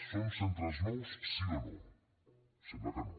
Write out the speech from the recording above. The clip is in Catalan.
són centres nous sí o no sembla que no